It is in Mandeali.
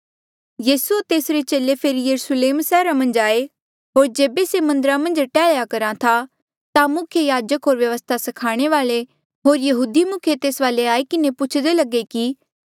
यीसू होर तेसरे चेले फेरी यरुस्लेम सैहरा मन्झ आये होर जेबे से मन्दरा मन्झ टैहल्या करहा था ता मुख्य याजक होर व्यवस्था स्खाणे वाल्ऐ होर यहूदी मुखिये तेस वाले आई किन्हें पुछदे लगे कि